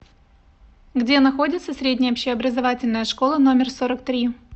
где находится средняя общеобразовательная школа номер сорок три